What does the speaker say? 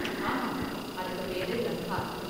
ஆமா, அதுக்கு பேரு லங்கார்.